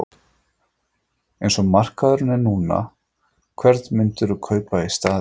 En eins og markaðurinn er núna, hvern myndirðu kaupa í staðinn?